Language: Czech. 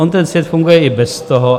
On ten svět funguje i bez toho.